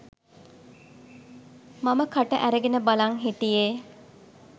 මම කට ඇරගෙන බලන් හිටියේ.